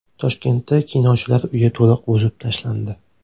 Toshkentda Kinochilar uyi to‘liq buzib tashlandi .